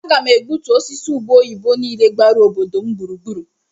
A ga m egbutu osisi ube oyibo niile gbara obodo m gburugburu.